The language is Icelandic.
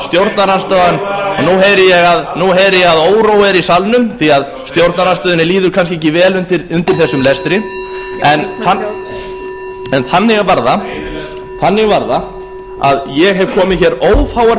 nú heyri ég að órói er í salnum því að stjórnarandstöðunni líður kannski ekki vel undir þessum lestri gefa þingmanni hljóð en þannig var það að ég hef komið hér ófáar